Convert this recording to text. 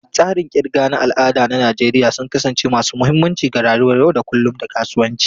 Tsarin kirga na al'ada na Najeriya sun kasance masu mahimmanci ga rayuwar yau da kullun da kasuwanci.